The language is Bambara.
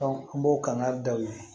an b'o kangari da o ye